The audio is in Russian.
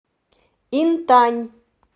интань